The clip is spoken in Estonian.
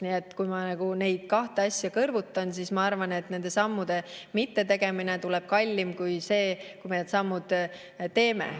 Nii et kui ma neid kahte asja kõrvutan, siis ma arvan, et nende sammude mittetegemine tuleb kallim kui see, kui me need sammud teeme.